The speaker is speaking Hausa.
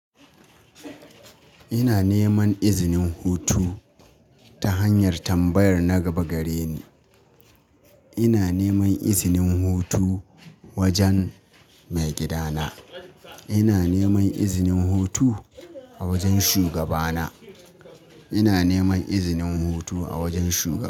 Ina neman izinin hutu ta hanyar tambayar na gaba gare ni. Ina neman izinin hutu wajen maigidana. Ina neman izinin hutu a wajen shugabana. Ina neman izinin hutu a wajen shu-